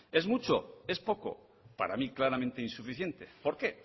es mucho es poco para mí claramente insuficiente por qué